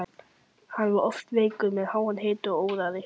Hann var oft veikur með háan hita og óráði.